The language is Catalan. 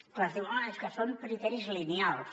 és clar ens diuen és que són criteris lineals